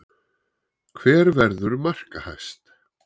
Hver verður markahæst?